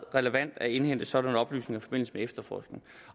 relevant at indhente sådanne oplysninger i forbindelse med efterforskning